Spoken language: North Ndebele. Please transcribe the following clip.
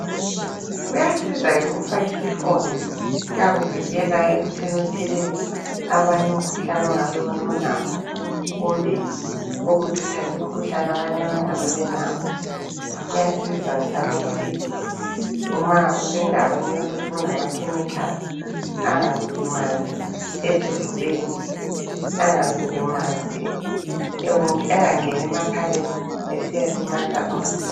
Kuyasiza ke ukufaka isifonyo kuyakuvikela ekuthini uthelele abanye umkhuhlane ongabe wena ulawo kumbe uthathe umkhuhlane abanye abangabe belawo, kuyasiza njalo ukuthi nxa usendaweni elamakhemikhali (chemical) engakulimazi esifubeni engakungeni emakhaleni esiyalimaza umzimba.